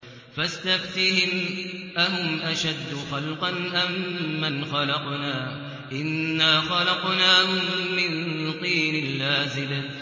فَاسْتَفْتِهِمْ أَهُمْ أَشَدُّ خَلْقًا أَم مَّنْ خَلَقْنَا ۚ إِنَّا خَلَقْنَاهُم مِّن طِينٍ لَّازِبٍ